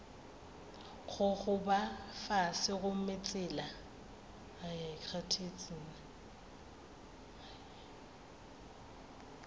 go gogoba fase gomme tsela